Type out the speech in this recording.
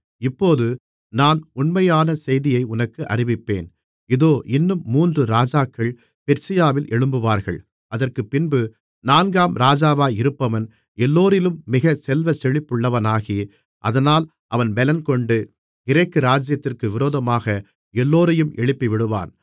இப்போது நான் உண்மையான செய்தியை உனக்கு அறிவிப்பேன் இதோ இன்னும் மூன்று ராஜாக்கள் பெர்சியாவில் எழும்புவார்கள் அதற்குப்பின்பு நான்காம் ராஜாவாயிருப்பவன் எல்லோரிலும் மிக செல்வச்செழிப்புள்ளவனாகி அதனால் அவன் பலங்கொண்டு கிரேக்கு ராஜ்ஜியத்திற்கு விரோதமாக எல்லோரையும் எழுப்பிவிடுவான்